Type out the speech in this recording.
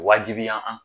Wajibiya an